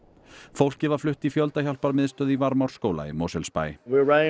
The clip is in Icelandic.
fólkið var flutt í í Varmárskóla í Mosfellsbæ